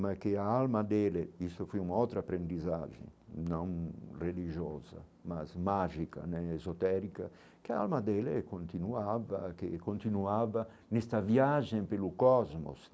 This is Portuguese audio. mas que a alma dele, isso foi um outro aprendizagem, não religiosa, mas mágica né, exotérica, que a alma dele continuava, que continuava nesta viagem pelo cosmos.